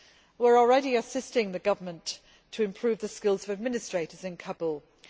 We are already assisting the government to improve the skills of administrators in Kabul.